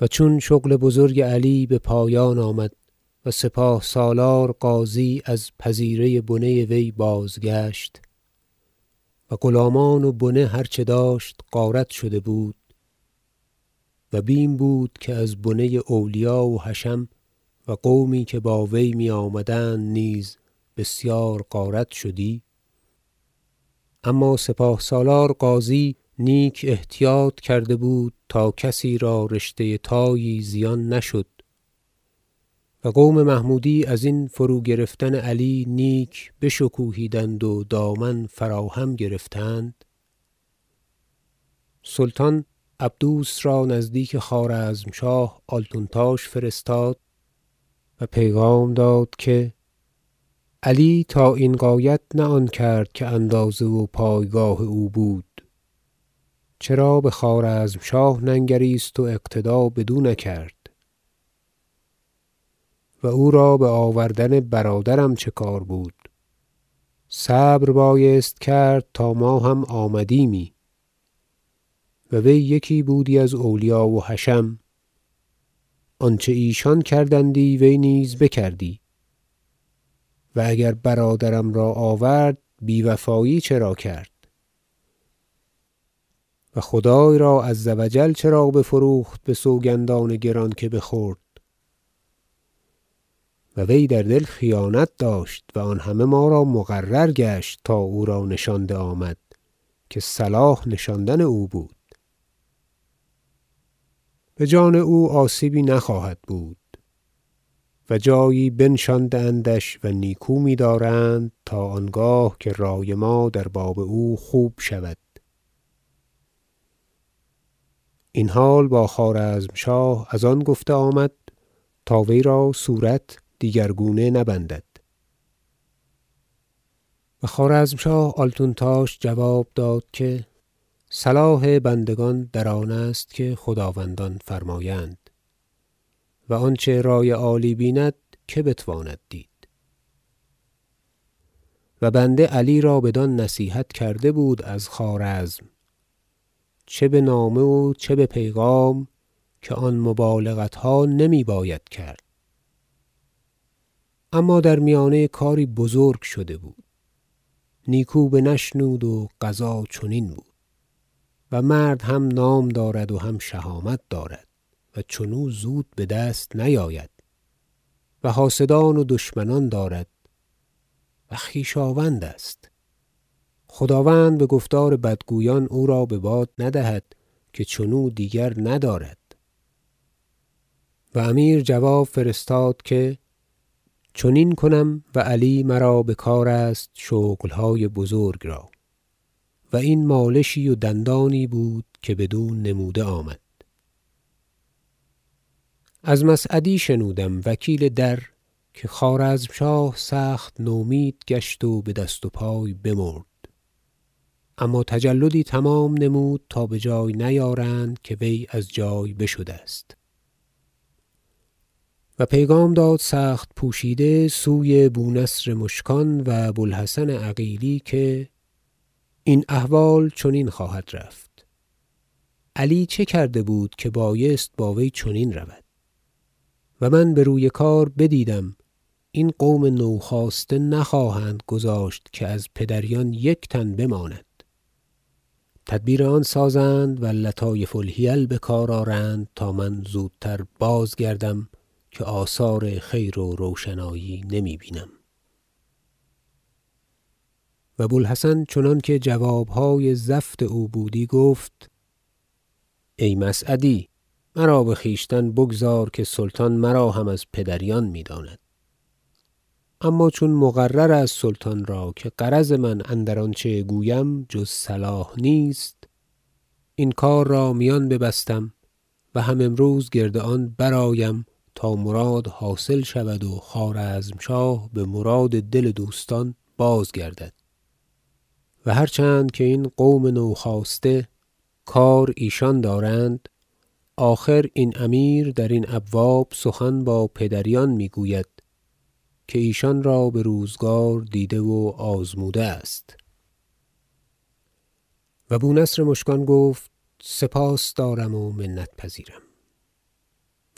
و چون شغل بزرگ علی به پایان آمد و سپاه سالار غازی از پذیره بنه وی بازگشت و غلامان و بنه هر چه داشت غارت شده بود و بیم بود که از بنه اولیا و حشم و قومی که با وی می آمدند نیز غارت بسیار شدی اما سپاه سالار غازی نیک احتیاط کرده بود تا کسی را رشته تایی زیان نشد و قوم محمودی ازین فروگرفتن علی نیک بشکوهیدند و دامن فرا هم گرفتند سلطان عبدوس را نزدیک خوارزمشاه آلتونتاش فرستاد و پیغام داد که علی تا این غایت نه آن کرد که اندازه و پایگاه او بود چرا به خوارزمشاه ننگریست و اقتدا بدو نکرد و او را به آوردن برادرم چه کار بود صبر بایست کرد تا ما هم آمدیمی و وی یکی بودی از اولیا و حشم آنچه ایشان کردندی وی نیز بکردی و اگر برادرم را آورد بیوفایی چرا کرد و خدای را -عز و جل- چرا بفروخت به سوگندان گران که بخورد و وی در دل خیانت داشت و آن همه ما را مقرر گشت تا او را نشانده آمد که صلاح نشاندن او بود به جان او آسیبی نخواهد بود و جایی بنشانده اندش و نیکو می دارند تا آنگاه که رأی ما در باب او خوب شود این حال با خوارزمشاه از آن گفته آمد تا وی را صورت دیگرگونه نبندد و خوارزمشاه آلتونتاش جواب داد که صلاح بندگان در آنست که خداوندان فرمایند و آنچه رای عالی بیند که بتواند دید و بنده علی را بدان نصیحت کرده بود از خوارزم چه به نامه و چه به پیغام که آن مبالغتها نمی باید کرد اما در میانه کاری بزرگ شده بود نیکو بنشنود و قضا چنین بود و مرد هم نام دارد و هم شهامت دارد و چنو زود به دست نیاید و حاسدان و دشمنان دارد و خویشاوند است خداوند به گفتار بدگویان او را به باد ندهد که چنو دیگر ندارد و امیر جواب فرستاد که چنین کنم و علی مرا به کار است شغلهای بزرگ را و این مالشی و دندانی بود که بدو نموده آمد از مسعدی شنودم وکیل در که خوارزمشاه سخت نومید گشت و به دست و پای بمرد اما تجلدی تمام نمود تا به جای نیارند که وی از جای بشده است و پیغام داد سخت پوشیده سوی بونصر مشکان و بوالحسن عقیلی که این احوال چنین خواهد رفت علی چه کرده بود که بایست با وی چنین رود و من به روی کار بدیدم این قوم نوخاسته نخواهند گذاشت که از پدریان یک تن بماند تدبیر آن سازند و لطایف الحیل به کار آرند تا من زودتر بازگردم که آثار خیر و روشنایی نمی بینم و بوالحسن چنانکه جوابهای زفت او بودی گفت ای مسعدی مرا به خویشتن بگذار که سلطان مرا هم از پدریان می داند اما چون مقرر است سلطان را که غرض من اندر آنچه گویم جز صلاح نیست این کار را میان ببستم و هم امروز گرد آن برآیم تا مراد حاصل شود و خوارزمشاه به مراد دل دوستان بازگردد و هر چند که این قوم نوخاسته کار ایشان دارند آخر این امیر در این ابواب سخن با پدریان میگوید که ایشان را به روزگار دیده و آزموده است و بونصر مشکان گفت سپاس دارم و منت پذیرم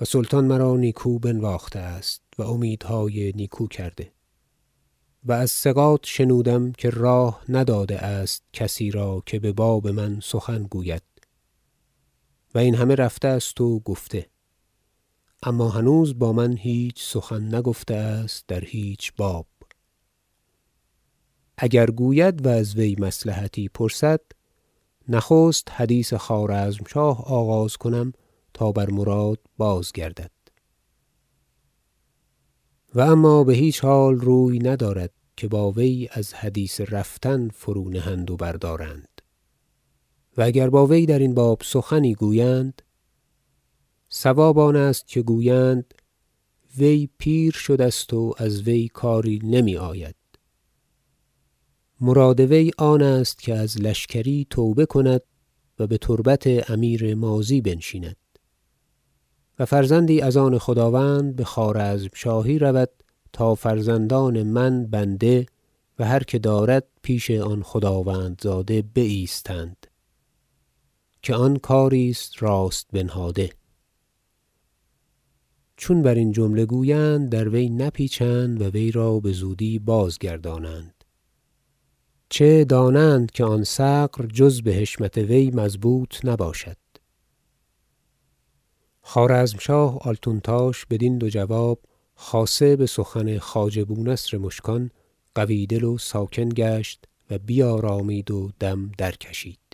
و سلطان مرا نیکو بنواخته است و امیدهای نیکو کرده و از ثقات شنودم که راه نداده است کسی را که به باب من سخن گوید و این همه رفته است و گفته اما هنوز با من هیچ سخن نگفته است در هیچ باب اگر گوید و از مصلحتی پرسد نخست حدیث خوارزمشاه آغاز کنم تا بر مراد بازگردد و اما به هیچ حال روی ندارد که با وی از حدیث رفتن فرونهند و بردارند و اگر با وی درین باب سخنی گویند صواب آن است که گویند وی پیر شده است و از وی کاری نمی آید مراد وی آن است که از لشکری توبه کند و به تربت امیر ماضی بنشیند و فرزندی از آن خداوند به خوارزمشاهی رود تا فرزندان من بنده و هر که دارد پیش آن خداوندزاده بایستند که آن کاری است راست بنهاده چون برین جمله گویند در وی نپیچند و وی را به زودی بازگردانند چه دانند که آن ثغر جز به حشمت وی مضبوط نباشد خوارزمشاه آلتونتاش بدین دو جواب خاصه به سخن خواجه بونصر مشکان قوی دل و ساکن گشت و بیارامید و دم درکشید